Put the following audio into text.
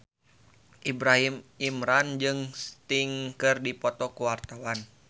Ibrahim Imran jeung Sting keur dipoto ku wartawan